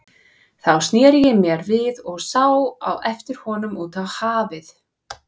Þá sneri ég mér við og sá á eftir honum út á hafið.